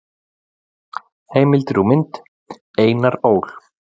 Heimildir og mynd: Einar Ól.